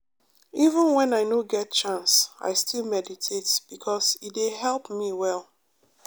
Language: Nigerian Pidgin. even when i no get chance i still meditate because e dey help me well.